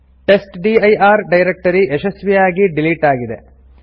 testdir directory ಯಶಸ್ವಿಯಾಗಿ delete ಆಗಿದೆ